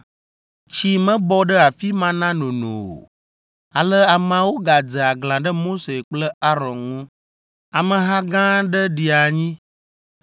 Tsi mebɔ ɖe afi ma na nono o, ale ameawo gadze aglã ɖe Mose kple Aron ŋu. Ameha gã aɖe ɖi anyi,